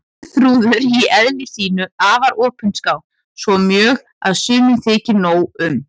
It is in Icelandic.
Geirþrúður í eðli sínu afar opinská, svo mjög að sumum þykir nóg um.